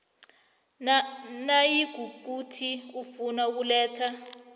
nayikuthi ufuna ukuletha